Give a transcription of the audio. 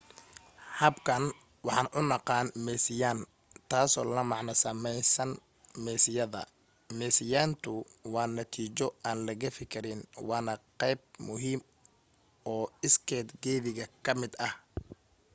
habkan waxaan u naqaan meesiyayn taasoo la macno samaysanka meesiyada meesiyayntu waa natiijo aan la gafi karin waana qayb muhiima oo isged geddiga ka mid ah